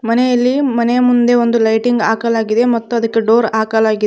ಎಲ್ಲಿ ಮನೆ ಮುಂದೆ ಒಂದು ಲೈಟಿಂಗ್ ಹಾಕಲಾಗಿದೆ ಮತ್ತೆ ಅದಕ್ಕೆ ಡೋರ್ ಹಾಕಲಾಗಿದೆ.